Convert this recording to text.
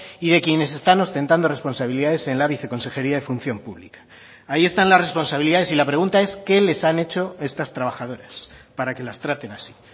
y de quienes están ostentando responsabilidades en la viceconsejería de función pública ahí están las responsabilidades y la pregunta es qué les han hecho estas trabajadoras para que las traten así